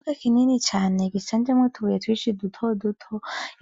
Ikibuga kini cane gishanjemwo utubuye twinshi duto duto